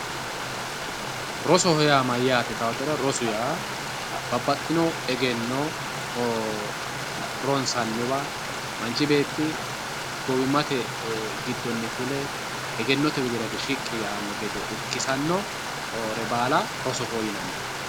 Rosoho yaa mayyate yittanotera rosoho yaa babbaxxino egenno ronsanniwa manchi beetti gowimate giddoni fule egennote widira hige shiqqi yaano gede irkisanore baalla rosoho yinanni.